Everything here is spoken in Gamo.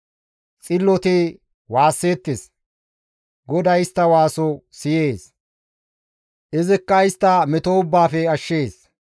Xilloti waasseettes; GODAY istta waaso siyees; izikka istta meto ubbaafe ashshees.